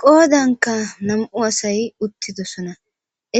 Qoodanka nam'u asay uttidosona